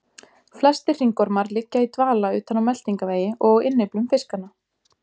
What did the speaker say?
Flestir hringormar liggja í dvala utan á meltingarvegi og á innyflum fiskanna.